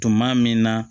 Tuma min na